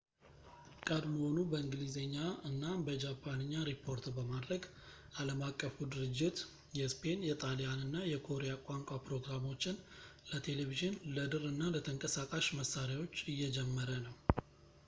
ቀድሞውኑ በእንግሊዝኛ እና በጃፓንኛ ሪፖርት በማድረግ ዓለም አቀፉ ድርጅት የስፔን ፣ የጣሊያን እና የኮሪያ ቋንቋ ፕሮግራሞችን ለቴሌቪዥን ፣ ለድር እና ለተንቀሳቃሽ መሣሪያዎች እየጀመረ ነው